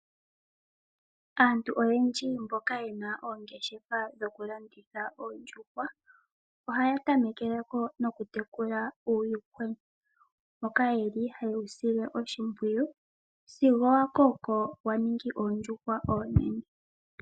Aantu oyendji mboka yena oongeshefa dhokulanditha oondjuhwa, ohaya tamekeleko nokutekula uuyuhwena mboka yeli hayewu sile oshimpwiyu sigo wa koko waningi oondjuhwa oonene.